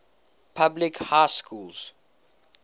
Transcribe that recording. public high schools